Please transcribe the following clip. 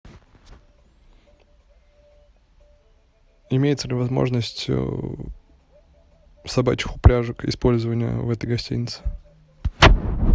имеется ли возможность собачьих упряжек использования в этой гостинице